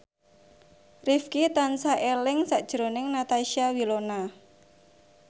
Rifqi tansah eling sakjroning Natasha Wilona